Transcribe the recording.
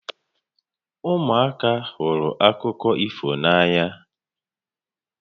Ụmụaka hụrụ akụkọ ifo n'ànyà